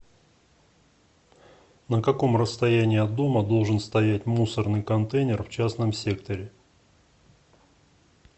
на каком расстоянии от дома должен стоять мусорный контейнер в частном секторе